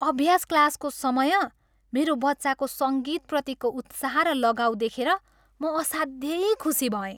अभ्यास क्लासको समय मेरो बच्चाको सङ्गीतप्रतिको उत्साह र लगाउ देखेर म असाध्यै खुसी भएँ।